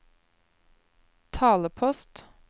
talepost